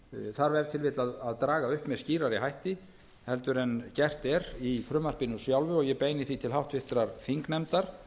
þarf ef til vill að draga upp með skýrari hætti heldur en gert er í frumvarpinu sjálfu og ég beini því til háttvirtrar þingnefndar